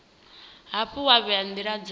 hafhu wa vhea ndila dza